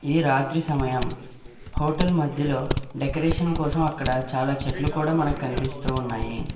ఈ రాత్రి సమయం హోటల్ మధ్యలో డెకరేషన్ కోసం అక్కడ చాలా చెట్లు కూడా మనకు కనిపిస్తూ ఉన్నాయి.